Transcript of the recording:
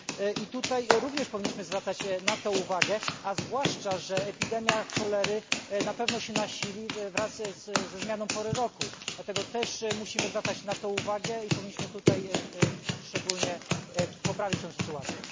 I tutaj również powinniśmy zwracać na to uwagę, a zwłaszcza, że epidemia cholery na pewno się nasili wraz ze zmianą pory roku. Dlatego też musimy zwracać na to uwagę i powinniśmy tutaj szczególnie poprawić tę sytuację.